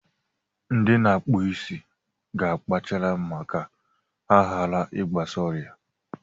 Ndị na-akpụ isi ga akpachara ma ka ha hara I gbasa ọrịa.